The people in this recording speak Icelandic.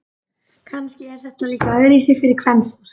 Kannski er þetta líka öðruvísi fyrir kvenfólk.